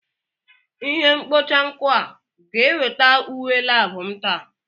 Ihe mkpocha nkụ a ga-eweta uwe lab m taa?